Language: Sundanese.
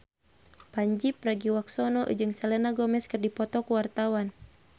Pandji Pragiwaksono jeung Selena Gomez keur dipoto ku wartawan